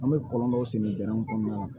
An bɛ kɔlɔn dɔw sigi dɛnw kɔnɔna la